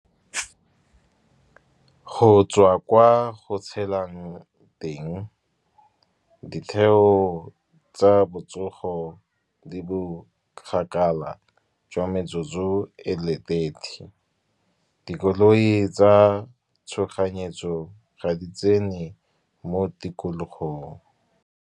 Go tswa kwa go tshelang teng ditheo tsa botsogo di bokgakala, jwa metsotso e le thirty. Dikoloi tsa tshoganyetso ga di tsene mo tikologong.